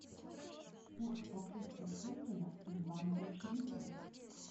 курс покупки шекеля в банке открытие